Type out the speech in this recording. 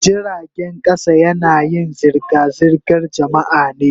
Jiragen kasa yanayin zirga-zirgar jama'a ne.